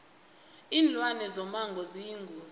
linlwane zomango ziyingozi